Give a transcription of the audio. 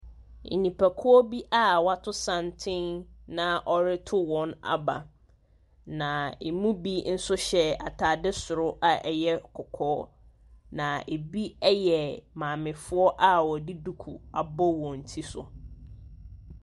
Nipakuo bi a wɔato santene na wɔreto wɔn aba. Na ɛmu bi nso hyɛ atade soro a ɛyɛ kɔkɔɔ, na ɛbi yɛ maamefoɔ a wɔde duku abɔ wɔn ti so.